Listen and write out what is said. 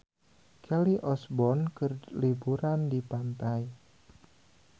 Kelly Osbourne keur liburan di pantai